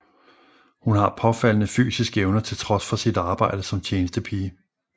Hun har påfaldende fysiske evner til trods for sit arbejde som tjenestepige